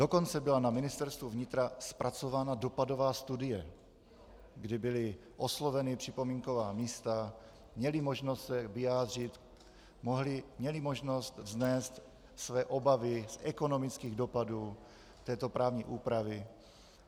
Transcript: Dokonce byla na Ministerstvu vnitra zpracována dopadová studie, kdy byla oslovena připomínková místa, měla možnost se vyjádřit, měla možnost vznést své obavy z ekonomických dopadů této právní úpravy.